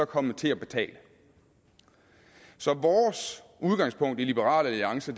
kommet til at betale så vores udgangspunkt i liberal alliance